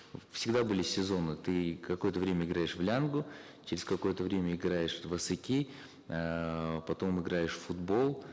всегда были сезонные ты какое то время играешь в лянгу через какое то время играешь в асыки эээ потом играешь в футбол